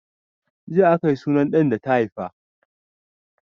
Jiya aka yi sunan ɗan da ta haifa.